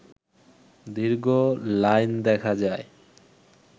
দীর্ঘ লাইন দেখা যায়